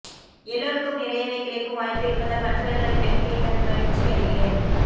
எல்லோருக்கும் நிறையவே கிடைக்கும் வாய்ப்பு இருப்பதால் மற்றவர்களின் வெற்றியைக் கண்டு மகிழ்ச்சியடைகிறேன்